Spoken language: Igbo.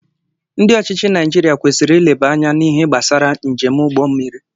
Ndị ọchịchị Naijiria kwesịrị ileba anya na ihe gbasara njem ụgbọ mmiri.